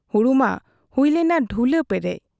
ᱦᱩᱲᱩ ᱢᱟ ᱦᱩᱭ ᱞᱮᱱᱟ ᱰᱷᱩᱞᱟᱹ ᱯᱮᱨᱮᱡ ᱾